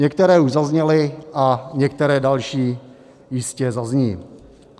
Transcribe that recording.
Některé už zazněly a některé další jistě zazní.